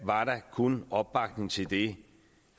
var der kun opbakning til det